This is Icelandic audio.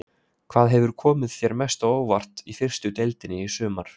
Hvað hefur komið þér mest á óvart í fyrstu deildinni í sumar?